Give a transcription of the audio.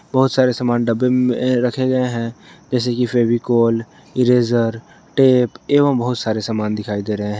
बहुत सारे सामान डब्बे में रखे गए हैं जैसे कि फेविकोल इरेजर टेप एवं बहुत सारे सामान दिखाई दे रहे हैं।